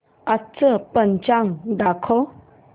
आजचं पंचांग दाखव